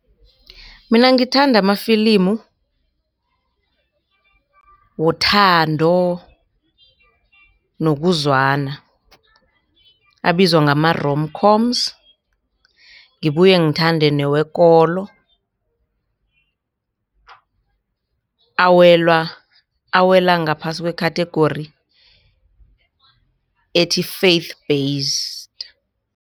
Mina ngithanda amafilimu wothando nokuzwana abizwa ngama-romcoms. Ngibuye ngithande newekolo awela ngaphasi kwe-catagory ethi, Faith Based.